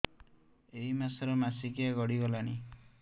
ଏଇ ମାସ ର ମାସିକିଆ ଗଡି ଗଲାଣି